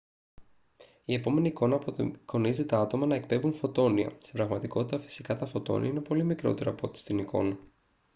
η επόμενη εικόνα απεικονίζει τα άτομα να εκπέμπουν φωτόνια. στην πραγματικότητα φυσικά τα φωτόνια είναι πολύ μικρότερα από ό,τι στην εικόνα